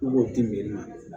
I b'o di min ma